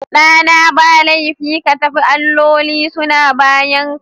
Ɗana, ba laifi ka tafi, alloli suna bayanka